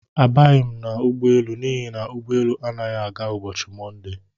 Abaghi m ụgbọelu n'ihi na ụgbọ élú anaghị aga ụbọchị Monde.